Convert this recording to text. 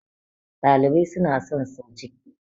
dalibai suna son sau ciki